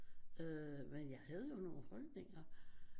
Øh men jeg havde jo nogle holdninger